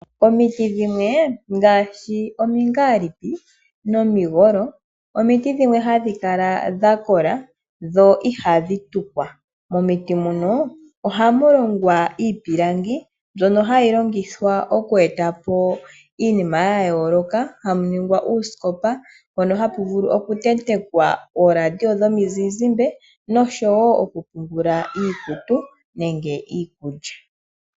Omiti dhimwe ngaashi omingalipi nomigolo omiti dhimwe hadhi kala dha kola, dho ihadhi tukwa. Momiti muno ohamu longwa iipilangi mbyono hayi longithwa oku etapo iinima ya yooloka, hamu ningwa uusikopa mpono hapu vulu okutentekwa ooradio dhomuzizimba noshowo okupungula iikutu nenge iikulya.